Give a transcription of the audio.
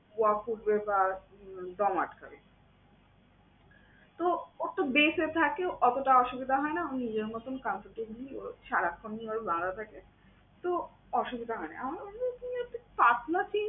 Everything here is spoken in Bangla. ওয়াক উঠবে বা দম আটকাবে। তো, ও তো bed এ থাকে, অতটা অসুবিধা হয় না ওর নিজের মতন comfortably ও সারাক্ষণই ওর এভাবে বাঁধা থাকে। তো অসুবিধা হয় না। আমি বললাম যে এই পাতলা chain